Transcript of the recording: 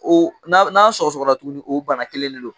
O n'a sɔgɔ sɔgɔra tugunni o bana kelen ni de don.